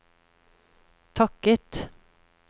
takket